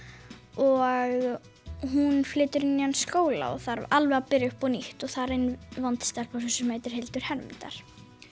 og hún flytur í nýjan skóla og þarf alveg að byrja upp á nýtt og þar er vond stelpa sem heitir Hildur Hermundar